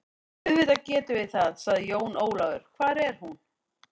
Auðvitað gerum við það, sagði Jón Ólafur, hvar er hún?